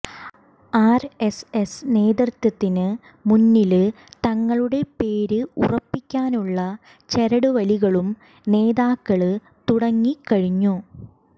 RSS നേതൃത്വത്തിന് മുന്നില് തങ്ങളുടെ പേര് ഉറപ്പിക്കാനുള്ള ചരടുവലികളും നേതാക്കള് തുടങ്ങി കഴിഞ്ഞു